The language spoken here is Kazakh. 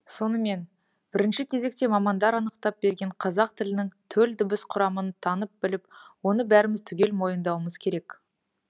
сонымен бірінші кезекте мамандар анықтап берген қазақ тілінің төл дыбыс құрамын танып біліп оны бәріміз түгел мойындауымыз керек